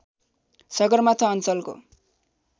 सगरमाथा अञ्चलको